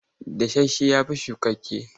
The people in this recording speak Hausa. Dasasshe ya fi shukakke.